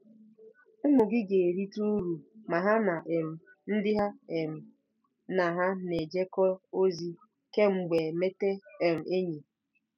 Ụmụ gị ga-erite uru ma ha na um ndị ha um na ha na-ejekọ ozi kemgbe emete um enyi